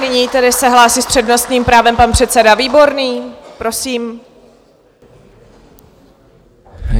Nyní se tedy hlásí s přednostním právem pan předseda Výborný, prosím.